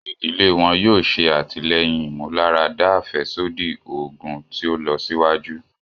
Ìdílé wọn yóò ṣe atilẹyin ìmúláradá afẹsodi oogun ti o lọsiwaju.